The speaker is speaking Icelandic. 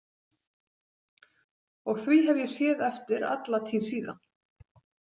Og því hef ég séð eftir alla tíð síðan.